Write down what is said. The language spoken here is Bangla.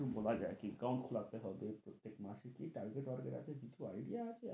কিছু বলা যাই কি account হবে প্রত্যেক মাসে, কি target বার্গেট আছে কিছু idea আছে?